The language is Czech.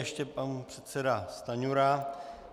Ještě pan předseda Stanjura.